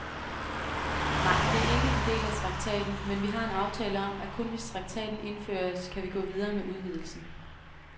Nej, det er ikke en del af traktaten, men vi har en aftale om, at kun hvis traktaten indføres, kan vi gå videre med udvidelsen.